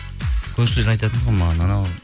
көршілер айтатын тұғын маған анау